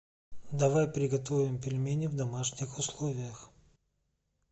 давай приготовим пельмени в домашних условиях